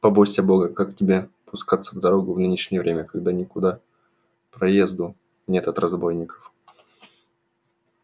побойся бога как тебе пускаться в дорогу в нынешнее время когда никуда проезду нет от разбойников